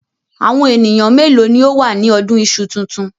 Àwọn ènìyàn mélòó ni ó wà ní ọdún iṣu tuntun?